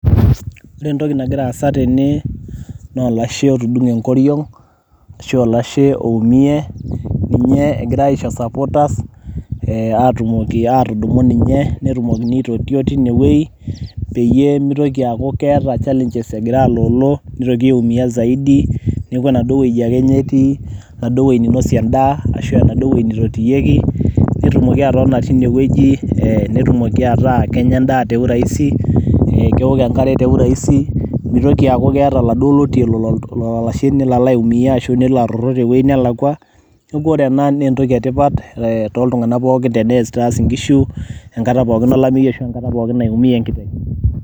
Ore entoki nagira aasa tene naa olashe otudung'e enkoriong' ashu olashe oumie, ninye egirai aisho supporters ee atumoki atudumu ninye netumokini aitotio tine woi peyie mitoki aaku keeta challenges egira alolo nitoki aiumia zaidi. Neeku enaduo woji enye ake etii, enaduo woi ninosie endaa ashu enaduo woi nitotikiyieki, netumoki atotona tine wueji, nitumoki ataa kenya endaa te urahisi, kewok enkare te urahisi, mitoki aaku keeta oladuo otei lolo olashe nelo alo aiumia ashu nelo aroro tewuei nelakua. Neeku ore ena naa entoki e tipat e toltung'anak pookin enitaas nkishu enkata pookin olameyu ashu enkata pookin naiumie enkiteng'.